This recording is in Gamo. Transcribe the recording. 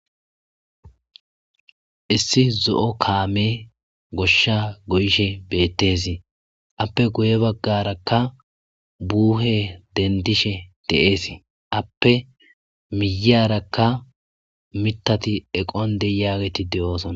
Issi zo,o kaame goshsha goyishe beettes appe guye baggarakka buuhe dendishe de7ees appe miyyarakka mitati eqon de yaageti de,oosona.